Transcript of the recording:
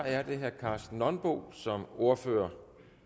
er det herre karsten nonbo som ordfører